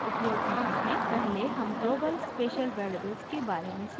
पहले हम global special variables के बारे में सीखेंगे